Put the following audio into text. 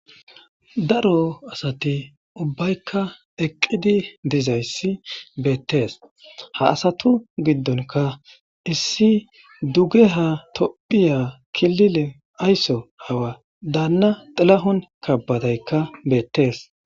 Daro asati ubbaykka eqqidi dizayssi beettees. Ha asatu giddonka issi dugeha tophiya kilile aysso hawa daanna xilahun kabbadaykka beettees.